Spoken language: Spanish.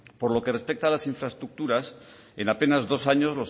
por lo que respeta a las infraestructuras en apenas dos años